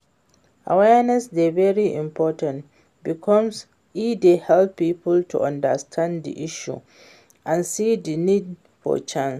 Awareness dey very important because e dey help people to understand di issue and see di need for change.